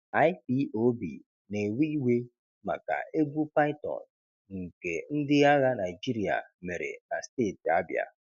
IPOB na-ewe iwe maka egwu python nke ndị agha Naịjirịa mere na steeti Abia